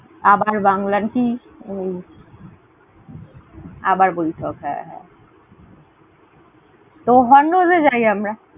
আবার বাংলার কি, আবার বলিত? হ্যাঁ, হ্যাঁ, তো Hondo's এ যাই আমরা।